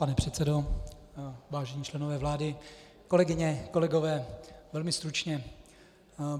Pane předsedo, vážení členové vlády, kolegyně, kolegové, velmi stručně.